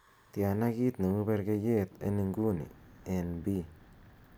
tyana kiit neu burgeiyet en inguni en bii